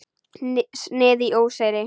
Snið í óseyri.